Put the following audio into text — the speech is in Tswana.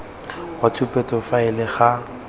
ya tshupetso ya faele ga